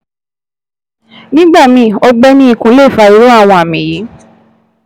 Nígbà míì, ọgbẹ́ ní ikùn lè fa irú àwọn àmì yìí